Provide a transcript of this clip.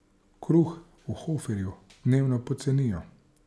Kruh v Hoferju dnevno pocenijo.